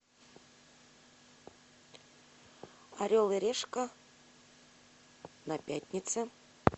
орел и решка на пятнице